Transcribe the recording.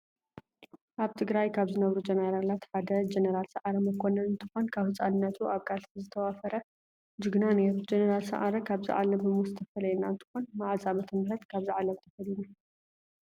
አብ ትግራይ ካበ ዝነበሩ ጀነራላት ሓደ ጀነራል ሳዓረ መኮነን እንትኮን ካብ ህፃንነቱ አብ ቃለሲ ዝተዋፈገ ጅግና ነይሩ። ጀነራል ሳዓረ ካበዛ ዓለመ ብሞት ዝተፈለየና እንትኮን መዓዝ ዓመተምህረት ካበዚ ዓለም ተፈሊዩና?